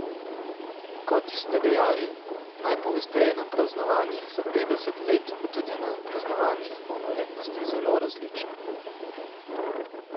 Kot ste dejali, najpogosteje na praznovanjih za petdeset let, pa tudi na praznovanjih polnoletnosti, zelo različno.